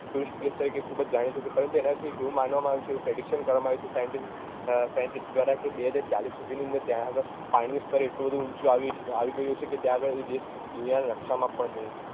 tourist place તરીકે ખુબ જ જાણીતું છે પરંતુ એનાં વિશે એવું માનવામાં આવ્યું છે એવું કરવામાં આવ્યું છે scientist દ્વારા કે બે હજાર ચાલીસ સુધીની અંદર ત્યાં આગળ પાણીનું સ્તર એટલું બધું ઊંચું આવી ગયું હશે કે ત્યાં આગળ એ દેશ દુનિયાના નકશામાં પણ નઈ હોય